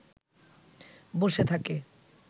বসে থাকে